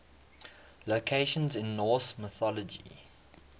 locations in norse mythology